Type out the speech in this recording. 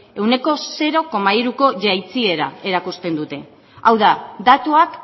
ehuneko zero koma hiruko jaitsiera erakusten dute hau da datuak